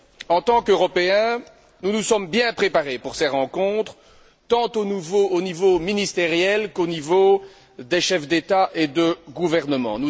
En tant qu'Européens, nous nous sommes bien préparés pour ces rencontres, tant au niveau ministériel qu'au niveau des chefs d'État et de gouvernement.